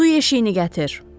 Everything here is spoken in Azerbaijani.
Su yeşiyini gətir!